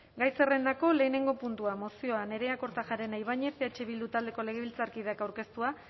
gai zerrendako lehenengo puntua mozioa nerea kortajarena ibañez eh bildu taldeko legebiltzarkideak aurkeztua